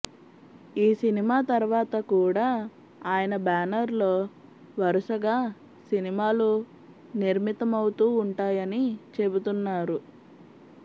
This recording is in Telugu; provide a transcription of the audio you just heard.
ఈ సినిమా తర్వాత కూడా అయన బ్యానర్ లో వరుసగా సినిమాలు నిర్మితమవుతూ ఉంటాయని చెబుతున్నారు